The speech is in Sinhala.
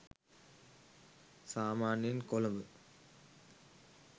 සාමාන්‍යයෙන් කොළඹ